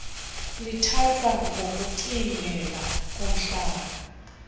lithathwa ngokokucingela komhlathi